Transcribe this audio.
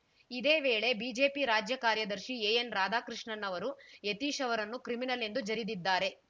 ಇದೇ ವೇಳೆ ಬಿಜೆಪಿ ರಾಜ್ಯ ಕಾರ್ಯದರ್ಶಿ ಎಎನ್‌ರಾಧಾಕೃಷ್ಣನ್‌ ಅವರು ಯತೀಶ್‌ ಅವರನ್ನು ಕ್ರಿಮಿನಲ್‌ ಎಂದು ಜರಿದಿದ್ದಾರೆ